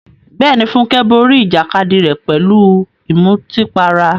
Bẹ́ẹ̀ni, Funke borí ìjàkadì rẹ̀ pẹ̀lú ìmutípara.